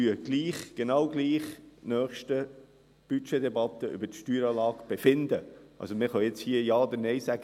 Wir befinden gleich – genau gleich – in der nächsten Steuerdebatte über die Steueranlage, also können wir jetzt hier Ja oder Nein sagen.